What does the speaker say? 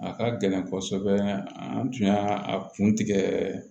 A ka gɛlɛn kɔsɔbɛ an tun y'a a kun tigɛ